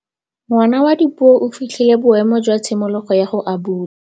Ngwana wa Dipuo o fitlhile boêmô jwa tshimologô ya go abula.